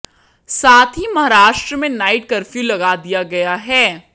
साथ ही महाराष्ट्र में नाईट कर्फ्यू लगा दिया गया है